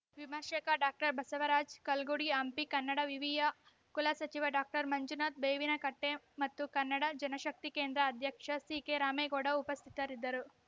ವಿಮರ್ಶಕ ಡಾಕ್ಟರ್ ಬಸವರಾಜ ಕಲ್ಗುಡಿ ಹಂಪಿ ಕನ್ನಡ ವಿವಿಯ ಕುಲಸಚಿವ ಡಾಕ್ಟರ್ ಮಂಜುನಾಥ ಬೇವಿನಕಟ್ಟೆಮತ್ತು ಕನ್ನಡ ಜನಶಕ್ತಿ ಕೇಂದ್ರ ಅಧ್ಯಕ್ಷ ಸಿಕೆರಾಮೇಗೌಡ ಉಪಸ್ಥಿತರಿದ್ದರು